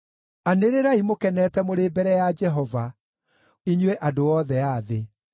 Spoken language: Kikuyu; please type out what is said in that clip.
Anĩrĩrai mũkenete mũrĩ mbere ya Jehova, inyuĩ andũ othe a thĩ.